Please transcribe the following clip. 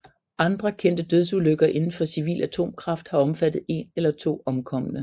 Andre kendte dødsulykker indenfor civil atomkraft har omfattet en eller to omkomne